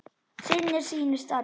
Sinnir sínu starfi.